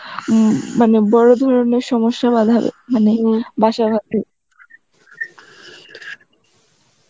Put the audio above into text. উম মানে বড় ধরনের বাঁধাবে বাসা বাধবে